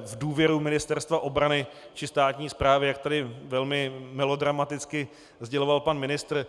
v důvěru Ministerstva obrany či státní správy, jak tady velmi melodramaticky sděloval pan ministr.